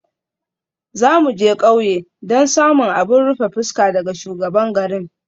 Za mu je ƙauye don samun abin rufe fuska daga shugaban garin.